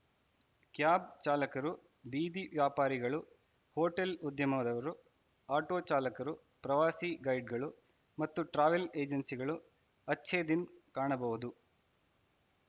cab ಚಾಲಕರು ಬೀದಿ ವ್ಯಾಪಾರಿಗಳು ಹೋಟೆಲ ಉದ್ಯಮದವರು ಆಟೋ ಚಾಲಕರು ಪ್ರವಾಸಿ ಗೈಡ್‌ಗಳು ಮತ್ತು ಟ್ರಾವೆಲ ಎಜೆನ್ಸಿಗಳು ಅಚ್ಛೇ ದಿನ್‌ ಕಾಣಬಹುದು